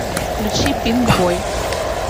включи пинкбой